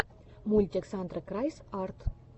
мультик сандры крайс арт